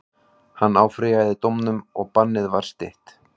Hann áfrýjaði dómnum og bannið var stytt.